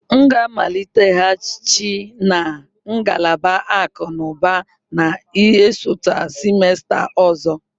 M ga-amaliteghachi na ngalaba akụ na ụba na-esote semester ọzọ.